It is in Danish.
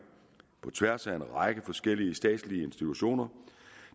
på tværs af en række forskellige statslige institutioner